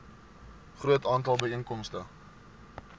groot aantal byeenkomste